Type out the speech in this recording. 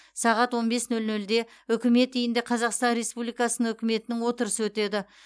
сағат он бес нөл нөлде үкімет үйінде қазақстан республикасының үкіметінің отырысы өтеді